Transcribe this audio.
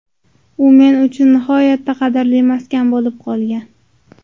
U men uchun nihoyatda qadrli maskan bo‘lib qolgan.